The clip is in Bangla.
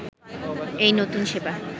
এই নতুন সেবা